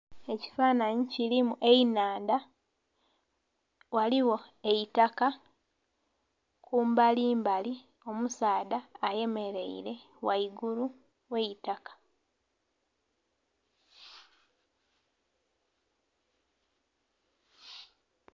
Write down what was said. Ekifananhi kilimu enhandha ghaligho eitaka kumbali mbali omusaadha ayemereire ghaigulu ghaitaka.